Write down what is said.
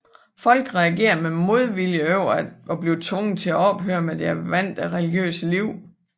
Folk reagerede med modvilje over at blive tvunget til at ophøre med deres vante religiøse liv